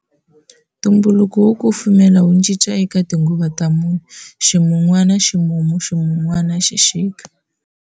Ntumbuluko wo kufumela wu cinca eka tinguva ta mune-ximun'wana, ximumu, ximun'wana, xixika.